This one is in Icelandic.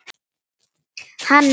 Hannes Þór.